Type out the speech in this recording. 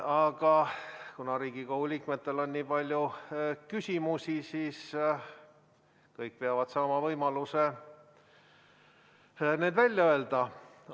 Aga kuna Riigikogu liikmetel on nii palju küsimusi, siis kõik peavad saama võimaluse need välja öelda.